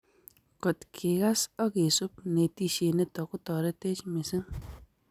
kot kikas ak kesub netishiet nito kotaretech mising